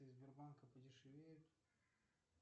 сбербанка подешевеют